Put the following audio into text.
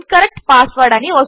incorrect password